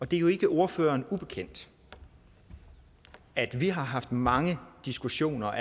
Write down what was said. det er jo ikke ordføreren ubekendt at vi har haft mange diskussioner